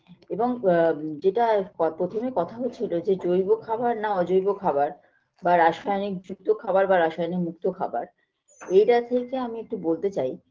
এবং আ যেটা পথ প্রথমে কথা হয়েছিল যে জৈব খাবার না অজৈব খাবার বা রাসায়নিকযুক্ত খাবার বা রাসায়নিকমুক্ত খাবার এটা থেকে আমি একটু বলতে চাই